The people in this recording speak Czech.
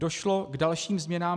Došlo k dalším změnám.